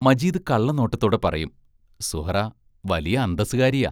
മജീദ് കള്ളനോട്ടത്തോടെ പറയും സുഹ്റാ വലിയ അന്തസ്സുകാരിയാ.